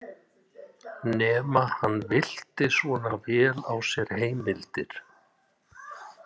Nema hann villti svona vel á sér heimildir.